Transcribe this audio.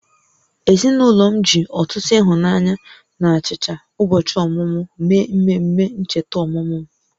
Ezinụlọ m ji ọtụtụ ịhụnanya na achicha ụbọchị ọmụmụ mee mmemme ncheta ọmụmụ m